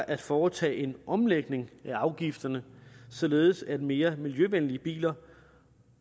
at foretage en omlægning af afgifterne således at mere miljøvenlige biler